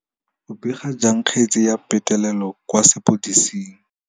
O bega jang kgetse ya petelelo kwa sepodising.